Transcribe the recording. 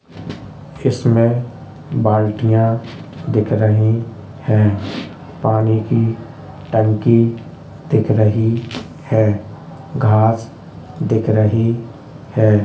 इसमे बाल्टियां दिख रही है| पानी की टंकी दिख रही है| घास दिख रही है ।